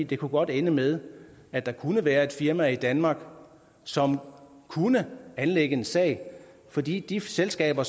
det kunne godt ende med at der kunne være et firma i danmark som kunne anlægge en sag fordi de selskaber